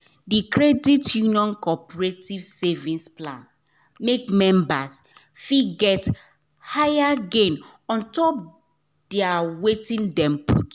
d credit union cooperative savings plan make members fit get higher gain on top their wetin dem put